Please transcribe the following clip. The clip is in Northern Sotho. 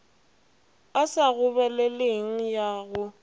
e sa gobeleleng ya go